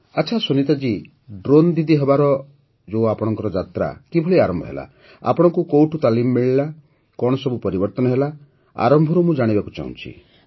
ଆଚ୍ଛା ସୁନୀତା ଜୀ ଡ୍ରୋନ୍ ଦିଦି ହେବାର ଆପଣଙ୍କ ଯାତ୍ରା କିଭଳି ଆରମ୍ଭ ହେଲା ଆପଣଙ୍କୁ କେଉଁଠୁ ତାଲିମ ମିଳିଲା କଣ ସବୁ ପରିବର୍ତ୍ତନ ହେଲା ଆରମ୍ଭରୁ ମୁଁ ଜାଣିବାକୁ ଚାହୁଁଛି